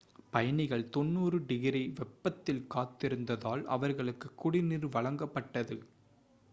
பயணிகள் 90f - degree வெப்பத்தில் காத்திருந்ததால் அவர்களுக்கு குடிநீர் வழங்கப்பட்டது